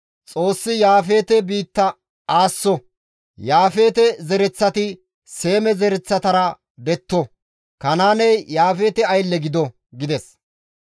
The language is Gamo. Xoossi Yaafeete biitta aasso! Yaafeete zereththati Seeme zereththatara detto! Kanaaney Yaafeete aylle gido!» gides.